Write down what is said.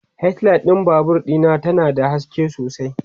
headlight ɗin Babur Dina ta na da haske sosai